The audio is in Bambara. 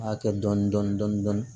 A kɛ dɔɔnin dɔɔnin dɔɔnin dɔɔnin